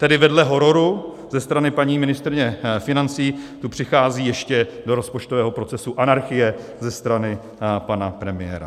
Tedy vedle hororu ze strany paní ministryně financí tu přichází ještě do rozpočtového procesu anarchie ze strany pana premiéra.